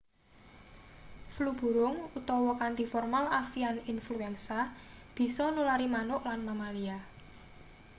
flu burung utawa kanthi formal avian infuensa bisa nulari manuk lan mamalia